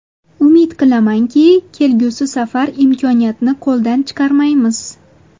Umid qilamanki, kelgusi safar imkoniyatni qo‘ldan chiqarmaymiz.